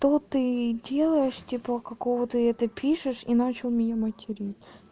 то ты и делаешь типа какого ты это пишешь и начал меня материть